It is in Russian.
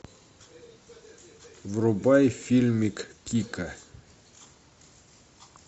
врубай фильмик кика